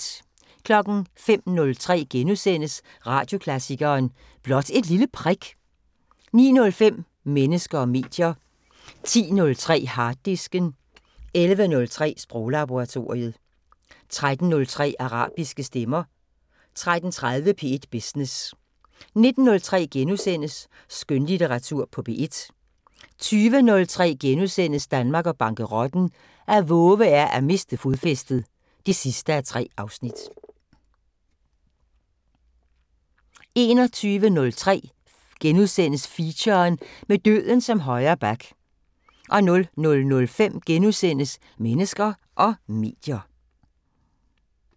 05:03: Radioklassikeren: Blot et lille prik * 09:05: Mennesker og medier 10:03: Harddisken 11:03: Sproglaboratoriet 13:03: Arabiske stemmer 13:30: P1 Business 19:03: Skønlitteratur på P1 * 20:03: Danmark og bankerotten: At vove er at miste fodfæstet (3:3)* 21:03: Feature: Med døden som højre back * 00:05: Mennesker og medier *